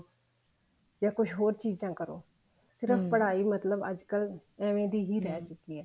ਜਾਂ ਕੁਛ ਹੋਰ ਚੀਜ਼ਾਂ ਕਰੋ ਸਿਰਫ ਪੜ੍ਹਾਈ ਮਤਲਬ ਅੱਜਕਲ ਏਵੇਂ ਦੀ ਹੀ ਰਹੀ ਚੁੱਕੀ ਹੈ